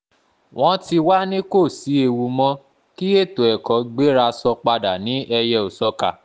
wọ́n ti wáá ní kò sí ewu mọ́ kí ètò ẹ̀kọ́ gbéra sọ padà ní ẹyẹ-ò-sọkà